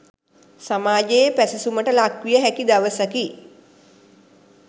සමාජයේ පැසසුමට ලක්විය හැකි දවසකි.